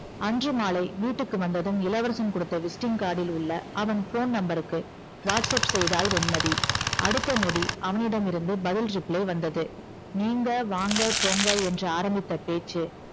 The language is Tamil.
அன்று மாலை வீட்டுக்கு வந்ததும் இளவரசன் கொடுத்த visiting card டில் உள்ள அவன் phone number க்கு whatsapp செய்தாள் வெண்மதி அடுத்த நொடி அவனிடம் இருந்து பதில் reply வந்தது நீங்க வாங்க போங்க என்று ஆரம்பித்த பேச்சு